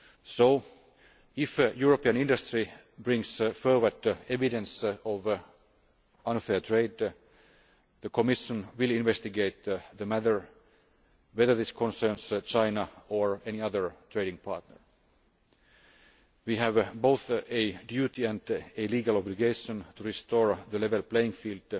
So, if European industry brings forward evidence of unfair trade, the Commission will investigate the matter, whether this concerns China or any other trading partner. We have both a duty and a legal obligation to restore the level playing field